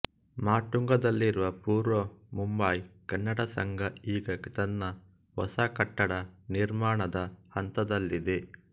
ಮಾಟುಂಗದಲ್ಲಿರುವಪೂರ್ವ ಮುಂಬಯಿ ಕನ್ನಡ ಸಂಘ ಈಗ ತನ್ನ ಹೊಸಕಟ್ಟಡ ನಿರ್ಮಾಣದ ಹಂತದಲ್ಲಿದೆ